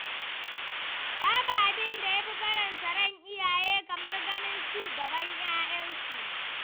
Babu abin da ya fi faranta ran iyaye kamar ganin ci gaban 'ya'yansu.